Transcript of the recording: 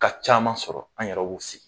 caman sɔrɔ an yɛrɛ y'u sigi.